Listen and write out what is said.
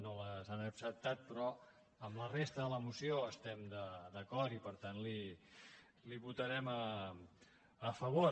no les han acceptat però amb la resta de la moció estem d’acord i per tant la hi votarem a favor